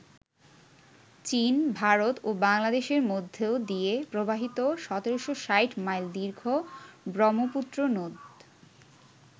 চীন, ভারত ও বাংলাদেশের মধ্যে দিয়ে প্রবাহিত ১৭৬০ মাইল দীর্ঘ ব্রহ্মপুত্র নদ।